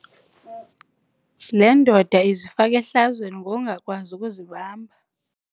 Le ndoda izifake ehlazweni lokungakwazi ukuzibamba.